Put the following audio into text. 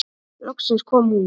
Loksins kom hún.